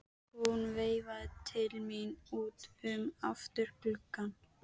Hún veifaði til mín út um afturgluggann.